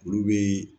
Olu bɛ